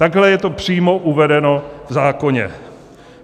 Takhle je to přímo uvedeno v zákoně.